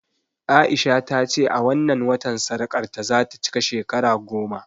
A'isha ta ce a wannan watan sarƙarta za ta cika shekara goma